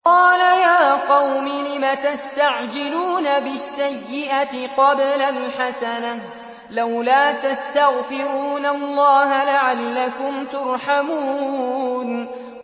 قَالَ يَا قَوْمِ لِمَ تَسْتَعْجِلُونَ بِالسَّيِّئَةِ قَبْلَ الْحَسَنَةِ ۖ لَوْلَا تَسْتَغْفِرُونَ اللَّهَ لَعَلَّكُمْ تُرْحَمُونَ